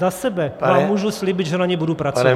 Za sebe vám můžu říci, že na ní budu pracovat.